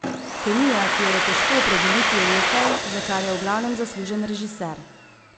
Kemija, ki jo je težko opredeliti, je nekaj, za kar je v glavnem zaslužen režiser.